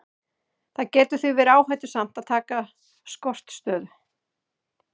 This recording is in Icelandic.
Það getur því verið áhættusamt að taka skortstöðu.